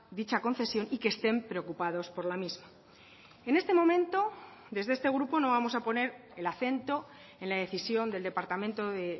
dicha concesión y que estén preocupados por la misma en este momento desde este grupo no vamos a poner el acento en la decisión del departamento de